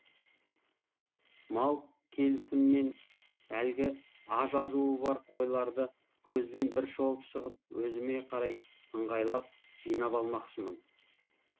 мал келісімен әлгі а жазуы бар қойларды көзбен бір шолып шығып өзіме қарай ыңғайлап жыйнап алмақшымын